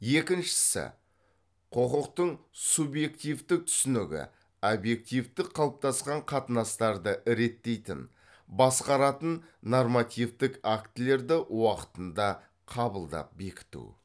екіншісі құқықтың субьективтік түсінігі обьективтік қалыптасқан қатынастарды реттейтін басқаратын нормативтік актілерді уақытында қабылдап бекіту